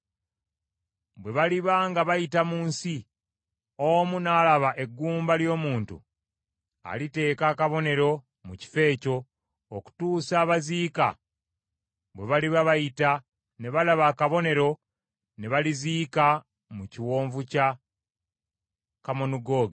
Bwe baliba nga bayita mu nsi, omu n’alaba eggumba ly’omuntu, aliteeka akabonero mu kifo ekyo, okutuusa abaziika bwe baliba bayita ne balaba akabonero ne baliziika mu kiwonvu kya Kamonugoogi.